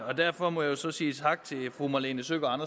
og derfor må jeg så sige tak til fru malene søgaard